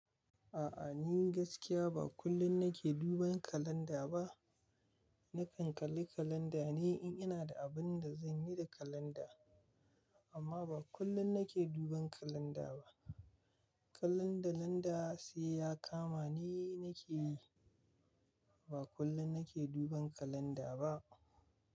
A'a, ni gaskiya ba kullum nake duban kalanda ba. Nakan kalli kalanda ne in ina da abin da zan yi da kalanda. Amma ba kullum nake duban kalanda ba. Kalan da landa sai ya kama ni nake yi. Ba kullum nake duban kalanda ba.